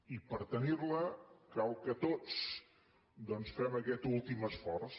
i per tenir la cal que tots doncs fem aquest últim esforç